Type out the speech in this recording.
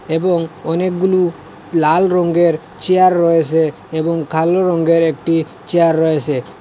এবং অনেকগুলো লাল রঙের চেয়ার রয়েছে এবং কালো রঙের একটি চেয়ার রয়েছে।